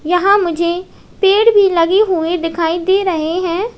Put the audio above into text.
यहां मुझे पेड़ भी लगे हुए दिखाई दे रहे हैं।